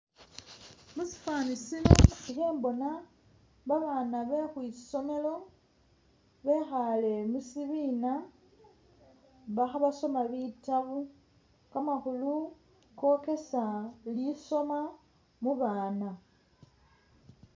Musifani sino ikhembona babaana be khwisomelo bekhaale musibiina bakha basoma bitabu, kamakhulu kokesa lisoma mu baana.